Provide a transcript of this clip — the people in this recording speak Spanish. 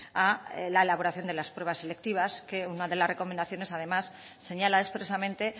a la elaboración de las pruebas selectivas que una de las recomendaciones además señala expresamente